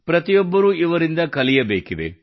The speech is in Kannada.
ಪ್ರತಿಯೊಬ್ಬರೂ ಇವರಿಂದ ಕಲಿಯಬೇಕಿದೆ